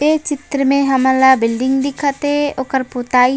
ए चित्र में हमन ला बिल्डिंग दिखत हे ओकर पुताई--